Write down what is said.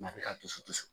a bɛ ka dusu dusu